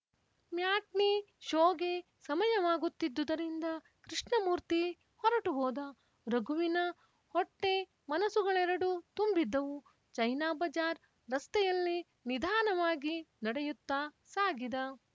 matinee ಷೋಗೆ ಸಮಯವಾಗುತ್ತಿದ್ದುದರಿಂದ ಕೃಷ್ಣಮೂರ್ತಿ ಹೊರಟು ಹೋದ ರಘುವಿನ ಹೊಟ್ಟೆಮನಸ್ಸುಗಳೆರಡೂ ತುಂಬಿದ್ದವು ಚೈನಾ ಬಜಾರ್ ರಸ್ತೆಯಲ್ಲಿ ನಿಧಾನವಾಗಿ ನಡೆಯುತ್ತಾ ಸಾಗಿದ